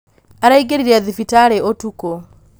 araingĩrire thibitarĩ ũtuko